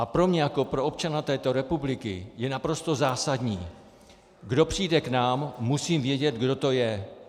A pro mě jako pro občana této republiky je naprosto zásadní: kdo přijde k nám, musím vědět, kdo to je.